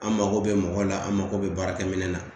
An mako bɛ mɔgɔw la an mago bɛ baara kɛ minɛn na